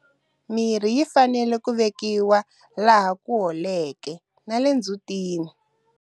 Mirhi yi fanele ku vekiwa laha ku holeke na le ndzhutini.